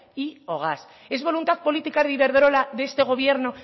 y o gas es voluntad política de iberdrola de este gobierno